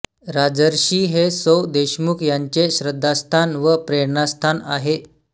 राजर्षि हे सौ देशमुख यांचे श्रद्धास्थान व प्रेरणास्थान आहे